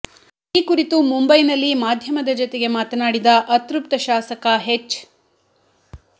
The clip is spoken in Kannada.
ಈ ಕುರಿತು ಮುಂಬೈನಲ್ಲಿ ಮಾಧ್ಯಮದ ಜತೆಗೆ ಮಾತನಾಡಿದ ಅತೃಪ್ತ ಶಾಸಕ ಎಚ್